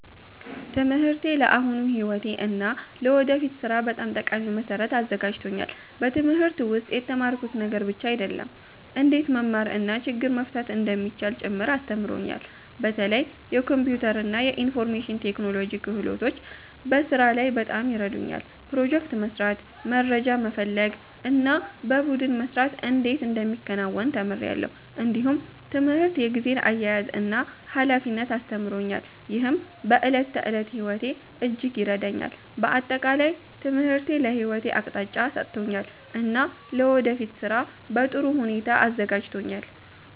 ትምህርቴ ለአሁኑ ሕይወቴ እና ለወደፊት ሥራ በጣም ጠቃሚ መሠረት አዘጋጅቶኛል። በትምህርት ውስጥ የተማርኩት ነገር ብቻ አይደለም፣ እንዴት መማር እና ችግር መፍታት እንደሚቻል ጭምር አስተምሮኛል። በተለይ የኮምፒውተር እና የኢንፎርሜሽን ቴክኖሎጂ ክህሎቶች በስራ ላይ በጣም ይረዱኛል። ፕሮጀክት መስራት፣ መረጃ መፈለግ እና በቡድን መስራት እንዴት እንደሚከናወን ተምሬአለሁ። እንዲሁም ትምህርት የጊዜ አያያዝን እና ኃላፊነትን አስተምሮኛል፣ ይህም በዕለት ተዕለት ሕይወቴ እጅግ ይረዳኛል። በአጠቃላይ ትምህርቴ ለሕይወቴ አቅጣጫ ሰጥቶኛል እና ለወደፊት ሥራ በጥሩ ሁኔታ አዘጋጅቶኛል።